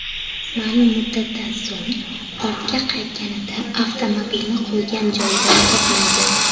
Ma’lum muddatdan so‘ng ortga qaytganida avtomobilni qo‘ygan joyidan topmaydi.